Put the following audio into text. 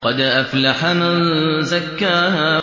قَدْ أَفْلَحَ مَن زَكَّاهَا